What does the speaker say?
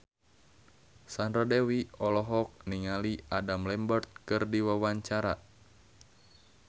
Sandra Dewi olohok ningali Adam Lambert keur diwawancara